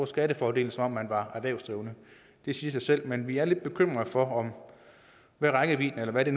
skattefordel som om man var erhvervsdrivende det siger sig selv men vi er lidt bekymrede for hvad rækkevidden er eller hvad det